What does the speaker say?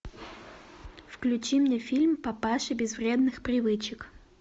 включи мне фильм папаши без вредных привычек